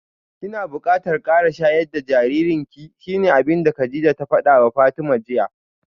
Kina bukatar kara shayar da jaririnki shine abinda Kadijah ta fadawa Fatima jiya